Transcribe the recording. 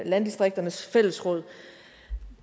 landdistrikternes fællesråd